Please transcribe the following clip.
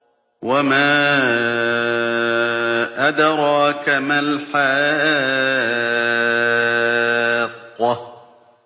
وَمَا أَدْرَاكَ مَا الْحَاقَّةُ